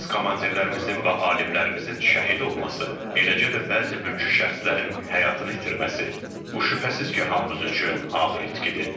Əziz komandirlərimizin və alimlərimizin şəhid olması, eləcə də bəzi mülki şəxslərin həyatını itirməsi, bu şübhəsiz ki, hamımız üçün ağır itkidir.